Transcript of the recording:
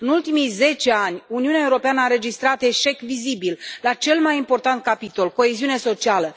În ultimii zece ani, Uniunea Europeană a înregistrat un eșec vizibil la cel mai important capitol coeziunea socială.